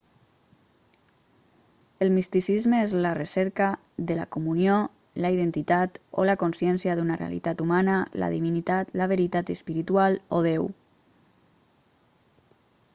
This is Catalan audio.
el misticisme és la recerca de la comunió la identitat o la consciència d'una realitat humana la divinitat la veritat espiritual o déu